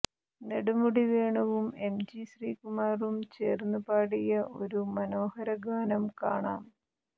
നെടുമുടി വേണുവും എംജി ശ്രീകുമാറും ചേർന്ന് പാടിയ ഒരു മനോഹരഗാനം കാണാം